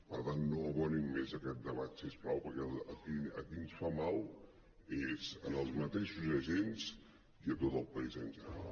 per tant no abonin més aquest debat si us plau perquè a qui ens fa mal és als mateixos agents i a tot el país en general